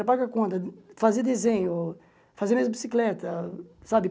Era pagar conta, fazer desenho, fazer minhas bicicletas, sabe?